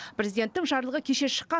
президенттің жарлығы кеше шыққан